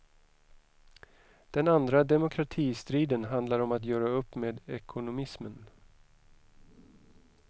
Den andra demokratistriden handlar om att göra upp med ekonomismen.